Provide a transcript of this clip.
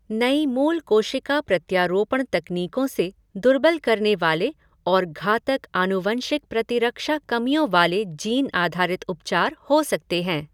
नई मूल कोशिका प्रत्यारोपण तकनीकों से दुर्बल करने वाले और घातक आनुवंशिक प्रतिरक्षा कमियों वाले जीन आधारित उपचार हो सकते हैं।